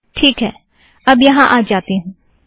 ठीक है अब यहाँ आ जाती हूँ